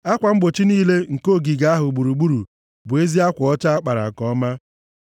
Akwa mgbochi niile nke ogige ahụ gburugburu bụ ezi akwa ọcha a kpara nke ọma.